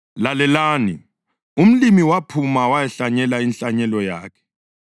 “Lalelani! Umlimi waphuma wayahlanyela inhlanyelo yakhe.